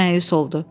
Məyus oldu.